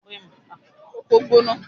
Ilé ìgbé àwọn akẹ́kọ̀ọ́ Moremi ni Bísí wà